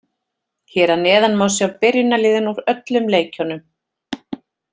Hér að neðan má sjá byrjunarliðin úr öllum leikjunum.